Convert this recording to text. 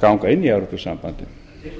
ganga inn í evrópusambandið